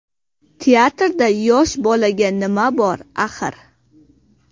Teatrda yosh bolaga nima bor axir?